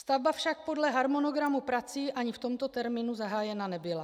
Stavba však podle harmonogramu prací ani v tomto termínu zahájena nebyla.